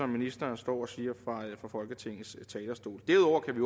ministeren står og siger fra folketingets talerstol derudover kan vi